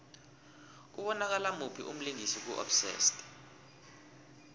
kubonakala muphi umlingisi ku obsessed